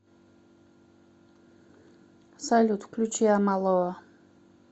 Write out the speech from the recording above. салют включи амалоа